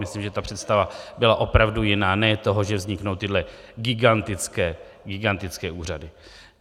Myslím, že ta představa byla opravdu jiná, ne toho, že vzniknou tyhle gigantické úřady.